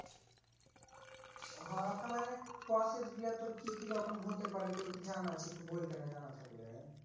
হো তো মানে process গুলা তোর কি কি রকম হতে পারে তোর কি জানা আছে একটু বল দে না জানা থাকলে